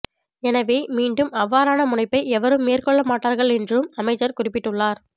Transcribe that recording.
எனவே மீண்டும் அவ்வாறான முனைப்பை எவரும் மேற்கொள்ளமாட்டார்கள் என்றும் அமைச்சர் குறிப்பிட்டுள்ளார்